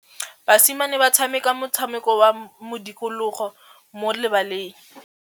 Basimane ba tshameka motshameko wa modikologô mo lebaleng.